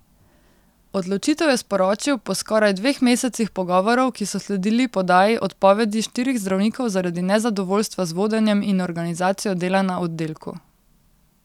Odločitev je sporočil po skoraj dveh mesecih pogovorov, ki so sledili podaji odpovedi štirih zdravnikov zaradi nezadovoljstva z vodenjem in organizacijo dela na oddelku.